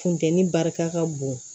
Funteni barika ka bon